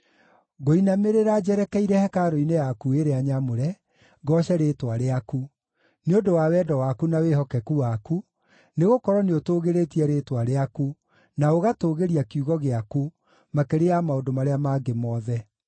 Ngũinamĩrĩra njerekeire hekarũ-inĩ yaku ĩrĩa nyamũre, ngooce rĩĩtwa rĩaku, nĩ ũndũ wa wendo waku na wĩhokeku waku, nĩgũkorwo nĩũtũũgĩrĩtie rĩĩtwa rĩaku, na ũgatũũgĩria kiugo gĩaku makĩria ya maũndũ marĩa mangĩ mothe.